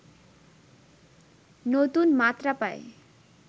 নতুন মাত্রা পায়